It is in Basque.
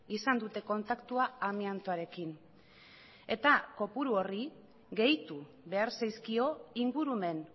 izan dute kontaktua amiantoarekin eta kopuru horri gehitu behar zaizkio ingurumen